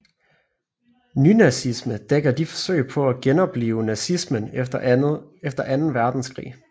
Nynazisme dækker de forsøg på at genoplive nazismen efter anden Verdenskrig